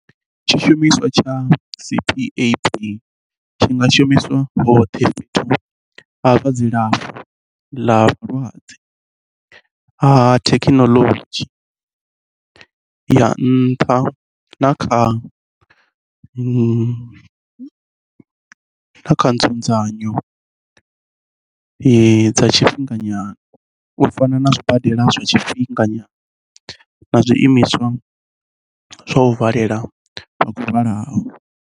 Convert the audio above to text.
Tshishumiswa tsha CPAP tshi nga shumiswa hoṱhe fhethu ha zwa dzilafho ḽa vhalwadze ha thekhinoḽodzhi ya nṱha na kha nzudzanyo dza tshifhinga nyana, u fana na zwibadela zwa tshifhinga nyana na zwiimiswa zwa u valela vha khou lwalaho.